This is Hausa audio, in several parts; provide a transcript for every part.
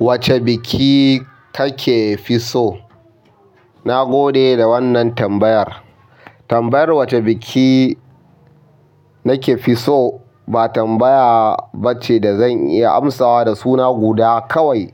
Wace biki kakefi so? Na gode da wannan tambayar. Tambayar wacce biki nake fi so ba tambaya bace da zan iya amsawa da suna guda kawai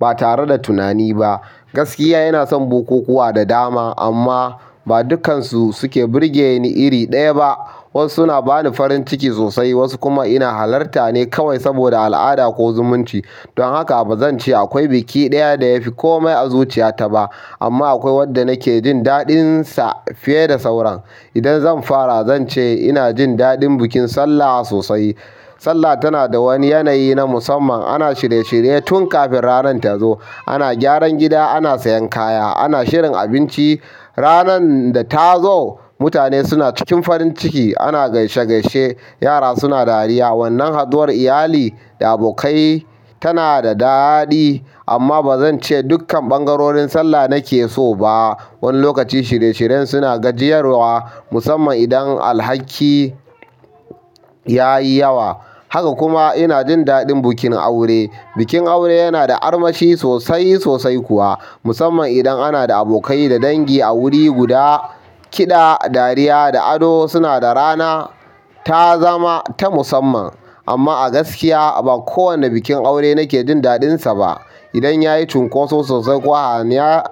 ba tare da tunani ba gaskiya ina son bukukuwa da dama amma ba dukkansu suke birge ni iri ɗaya ba. Wasu suna bani farin jin ciki sosai, wasu kuma ina halarta ne kawai saboda al'ada ko zumunci. Don haka bazan ce akwai biki ɗaya da yafi komai a zuciyata ba. Amma akwai wanda nakejin daɗinsa fiye da sauran. Idan zan fara, zance ina jin daɗin bikin sallah sosai. Sallah tana da wani yanayi na musamman. Ana shirye shirye tun kafin ranan tazo. Ana gyaran gida, ana sayan kaya, ana shirin abinci. Ranan da ta zo, mutane suna cikin farin ciki, ana gaishe gaishe, yara suna dariya. Wannan haɗuwar iyali da abokai tana da daɗi. Amma bazance dukkan ɓangarorin sallah nake so ba. Wani lokaci shirye shiryen suna gajiyarwa musamman idan alhaki yayi yawa. Haka kuma ina jin daɗin bikin aure. Bikin aure yana da armashi sosai sosai kuwa musamman idan ana da abokai da dangi a wuri guda. Kiɗa, dariya da ado suna da rana ta zama ta musamman. Amma a gaskiya ba kowane bikin aure nake jin daɗinsa ba. Idan yayi cunkoso sosai ko hayaniya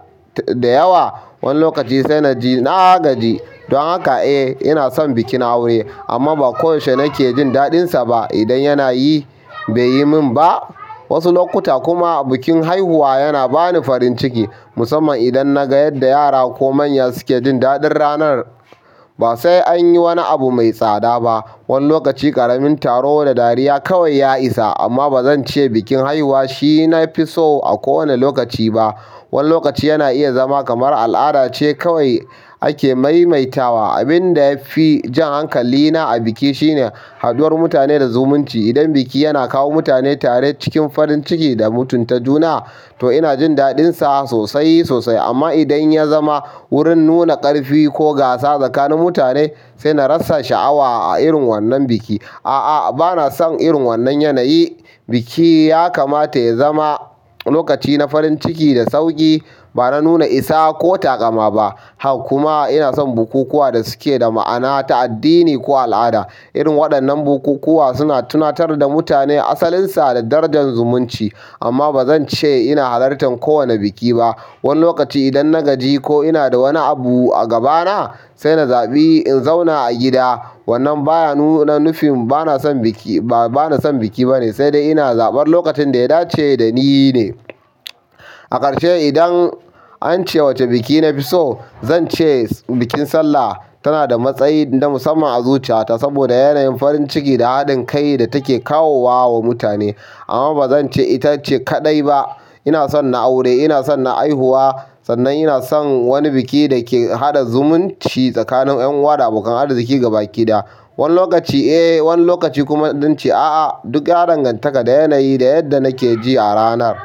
da yawa wani lokaci sai na gaji. Don haka, eh ina son bikin aure amma ba koyaushe nake jin daɗinsa ba idan yana yi bai yi min ba. Wasu lokuta kuma bikin haihuwa yana bani farin ciki musamman idan na ga yadda yara ko manya suke jin daɗin ranar. Ba sai an yi wani abu mai tsada ba. Wani lokaci ƙaramin taro da dariya kawai ya isa. Amma bazan ce bikin haihuwa shi nafi so a kowanne lokaci ba wani lokaci yana iya zama kamar al'ada ce kawai ake maimaitawa. Abin da yafi jan hankalina a biki shine haɗuwar mutane da zumunci. Idan biki yana kawo mutane tare cikin farin ciki da mutunta juna, to ina jin daɗinsa sosai sosai. Amma idan ya zama wurin nuna ƙarfi ko gasa tsakanin mutane, sai na rasa sha'awa a irin wannan biki. A'a, bana san irin wannan yanayi. Biki ya kamata ya zama lokaci na farin ciki da sauƙi. Ba na nuna isa ko taƙama ba. Haka kuma ina san bukukuwa da suke da ma'ana ta addini ko al'ada. Irin waɗannan bukukuwa suna tunatar da mutane asalin sa da darajar zumunci. Amma bazance ina halartan kowane biki ba. Wani lokaci idan na gaji ko ina da wani abu a gabana sai na zaɓi in zauna a gida. Wannan baya nuna nufin bana son biki bane sai dai ina zaɓar lokacin da ya dace dani ne. A ƙarshe idan ance wace biki nafi so, zance bikin Sallah tana da matsayi na musamman a zuciyata saboda yanayin farin ciki da haɗin kai da take kawo wa wa mutane. Amma bazance itace kaɗai ba. Ina son na aure, ina son na haihuwa. Sannan ina son wani biki da ke haɗa zumunci tsakanin ƴan uwa da abokan arziki gabaki ɗaya. Wani lokaci eh wani lokaci kuma zance a'a. Duk ya danganta da yanayi da yadda nakeji a ranar.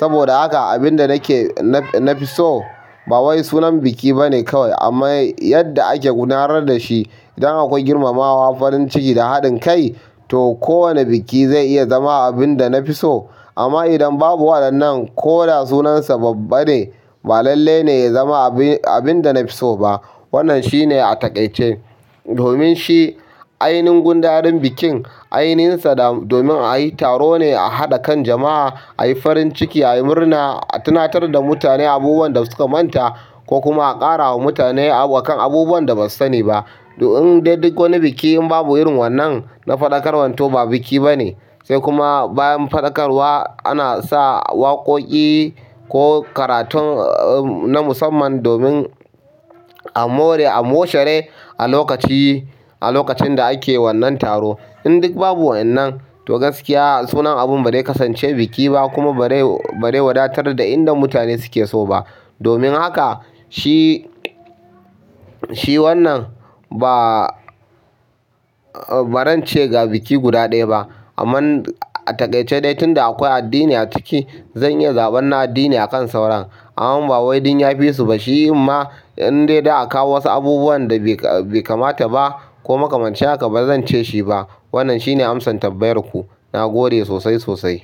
Saboda haka abin da nake-- nafiso ba wai sunan biki bane kawai amma yadda ake gudanar da shi. Idan akwai girmamawa, farin ciki da haɗin kai to kowane biki zai iya zama abin da nafiso. Amma idan babu waɗannan ko da sunansa babba ne ba lalle ne ya zama abin da nafiso ba. Wannan shine a taƙaice. Domin shi ainihin gundarin bikin ainihinsa da domin ayi taro ne a haɗa kan jama'a, ayi farin ciki, ayi murna, a tunatar da mutane abubuwan da suka manta ko kuma a ƙara wa mutane akan abubuwan da ba su sani ba. In dai duk wani biki in babu irin wannan na faɗakarwan to ba biki bane. Sai kuma bayan faɗakarwa ana sa waƙoƙi ko karatun na musamman domin a more-- a moshere a lokaci a lokacin da ake wannan taro. In duk babu waƴannan to gaskiya sunan abun ba dai kasance biki ba kuma ba dai wadatar da inda mutane suke so ba. Domin haka shi shi wannan ba bazan ce ga biki guda ɗaya ba kaman a taƙaice de tunda akwai addini a ciki zan iya zaɓar na addini akan sauran amma ba wai dan ya fisu ba. Shi inma in dai da a kawo wasu abubuwan da bai kamata ba ko makamanci haka bazance shi ba. Wannan shine amsan tambayar ku. Na gode sosai sosai.